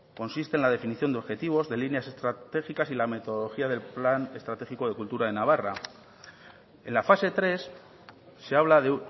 consiste en la definición de objetivos de líneas estratégicas y la metodología del plan estratégico de cultura de navarra en la fase tres se habla de